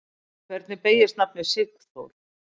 Hvernig beygist nafnið Sigþór?